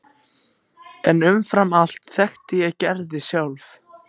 En umfram allt þekkti ég Gerði sjálf.